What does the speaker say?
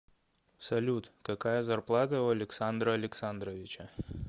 салют какая зарплата у александра александровича